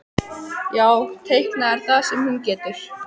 Já, teikna er það eina sem hún getur.